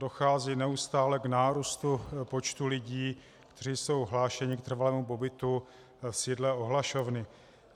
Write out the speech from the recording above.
Dochází neustále k nárůstu počtu lidí, kteří jsou hlášeni k trvalému pobytu v sídle ohlašovny.